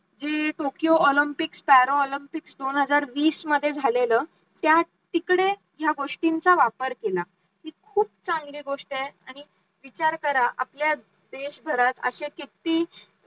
जी Tokyo Olympic स्टेरो Olympics दोन हजार वीस मध्ये झालेलं त्यात तिकडे ह्या गोष्टींचा वापर केला हि खूप चांगली गोष्ट आहे आणि विचार करा आपल्या देशभरात अशे किती